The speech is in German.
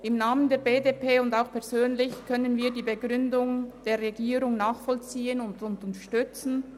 Im Namen der BDP und auch persönlich kann ich die Begründung der Regierung nachvollziehen und unterstützen.